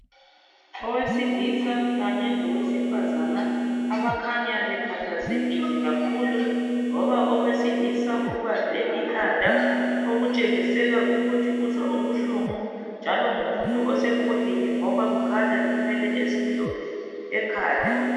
Owesilisa kanye lowesifazana abakhanya bekhathazekile kakhulu loba owesilisa ubambe ikhanda okutshengisela ukuthi uzwa ubuhlungu njalo ngumuntu osekhulile ngoba kukhanya ngenwele ezimhlophe ekhanda.